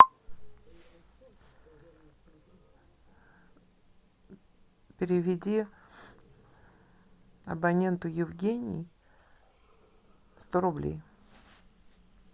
переведи абоненту евгений сто рублей